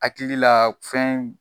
Hakilila fɛn